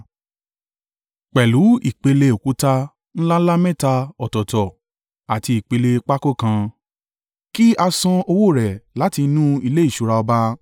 pẹ̀lú ipele òkúta ńlá ńlá mẹ́ta ọ̀tọ̀ọ̀tọ̀ àti ipele pákó kan, kí a san owó rẹ̀ láti inú ilé ìṣúra ọba.